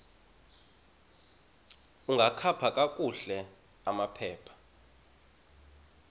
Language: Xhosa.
ungakhupha kakuhle amaphepha